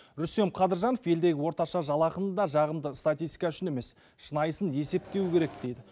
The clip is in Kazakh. рүстем қадыржанов елдегі орташа жалақыны да жағымды статистика үшін емес шынайысын есептеу керек дейді